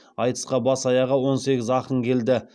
айтысқа бас аяғы он сегіз ақын келді